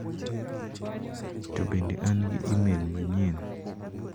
To bende an gi imel manyien?